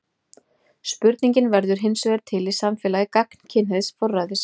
Spurningin verður hinsvegar til í samfélagi gagnkynhneigðs forræðis.